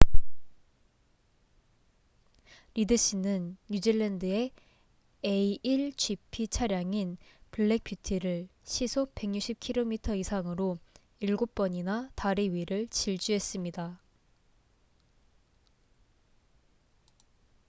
리드 씨는 뉴질랜드의 a1gp 차량인 블랙 뷰티를 시속 160km 이상으로 일곱 번이나 다리 위를 질주했습니다